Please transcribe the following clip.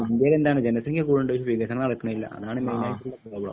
ജനസംഖ്യകൂടിൻണ്ട് പക്ഷേ വികസനം നടക്കണില്ല അതാണ് മെയിനായിട്ടുള്ള പ്രോബ്ലം